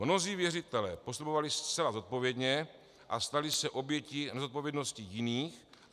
Mnozí věřitelé postupovali zcela zodpovědně a stali se obětí nezodpovědnosti jiných.